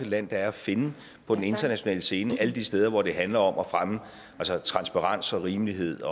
land der er at finde på den internationale scene alle de steder hvor det handler om at fremme transparens og rimelighed